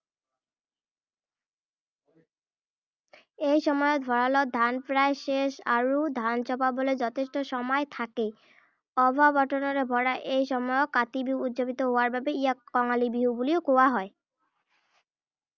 এই সময়ত ভঁৰালত ধান প্ৰায় শেষ হয় আৰু ধান চপাবলৈ যথেষ্ট সময় থাকে। অভাৱ অটানৰে ভৰা এই সময়ত কাতি বিহু উদযাপিত হোৱাৰ বাবে ইয়াক কঙালী বিহু বুলিও কোৱা হয়।